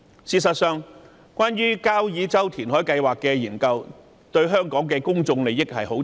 事實上，交椅洲填海計劃的研究牽涉香港重大的公眾利益。